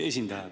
Just!